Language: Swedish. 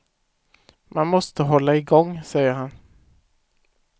Man måste hålla igång, säger han.